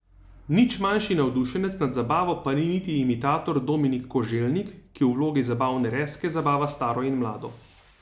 Nič manjši navdušenec nad zabavo pa ni niti imitator Dominik Koželjnik, ki v vlogi zabavne Rezke zabava staro in mlado.